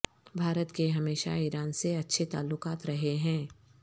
بھارت کے ہمیشہ ایران سے اچھے تعلقات رہے ہیں